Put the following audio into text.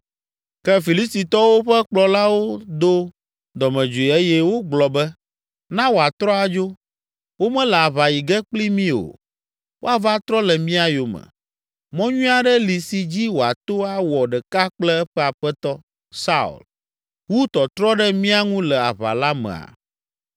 Ke Filistitɔwo ƒe kplɔlawo do dɔmedzoe eye wogblɔ be, “Na woatrɔ adzo, womele aʋa yi ge kpli mí o. Woava trɔ le mía yome. Mɔ nyui aɖe li si dzi wòato awɔ ɖeka kple eƒe aƒetɔ, Saul, wu tɔtrɔ ɖe mía ŋu le aʋa la mea?